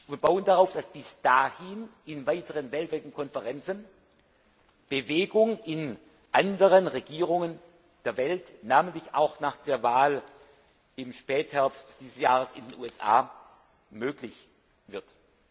Wir bauen darauf, dass bis dahin in weiteren weltweiten Konferenzen Bewegung in anderen Regierungen der Welt, namentlich auch nach der Wahl im Spätherbst dieses Jahres in den USA, möglich wird.